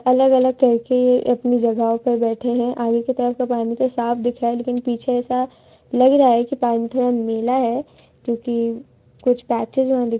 अलग-अलग तरह की अपनी जगहों पर बैठे है आगे की तरफ का पानी तो साफ दिख रहा है लेकिन पीछे ऐसा लग रहा है की पानी थोड़ा मैला है क्योकि कुछ पाचे --